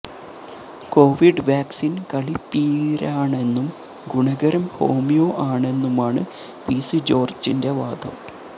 Covid വാക്സിന് കളിപ്പീരാണെന്നും ഗുണകരം ഹോമിയോ ആണെന്നുമാണ് പിസി ജോര്ജ്ജിന്റെ വാദം